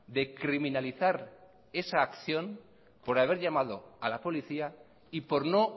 de criminalizar esa acción por haber llamado a la policía y por no